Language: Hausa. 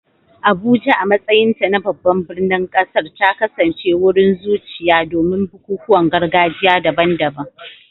Abuja, a matsayinta na babban birnin ƙasar, ta kasance wurin zuciya domin bukukuwan gargajiya daban-daban.